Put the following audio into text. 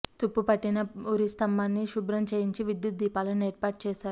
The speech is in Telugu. తుప్పు పట్టిన ఉరిస్తంభాన్ని శుభ్రం చేయించి విద్యుత్ దీపాలను ఏర్పాటు చేశారు